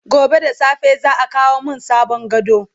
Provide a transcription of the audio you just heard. gobe da safe za'a kawo min sabon gado